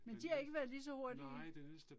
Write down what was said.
Men de har ikke været lige så hurtige?